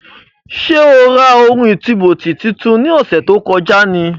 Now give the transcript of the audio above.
Sé o ra ohun ìtúbóòtì tuntun ní ọ̀sẹ̀ tó kọjá ni?